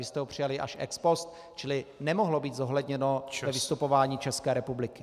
Vy jste ho přijali až ex post , čili nemohlo být zohledněno ve vystupování České republiky.